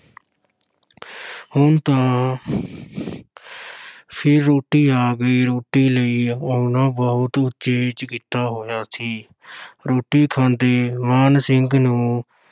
ਹੁਣ ਤਾਂ ਫਿਰ ਰੋਟੀ ਆ ਗਈ ਰੋਟੀ ਲਈ ਉਹਨਾਂ ਬਹੁਤ ਉਚੇਚ ਕੀਤਾ ਹੋਇਆ ਸੀ ਰੋਟੀ ਖਾਂਦੇ ਮਾਨ ਸਿੰਘ ਨੂੰ